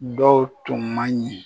Dɔw tun man ɲi.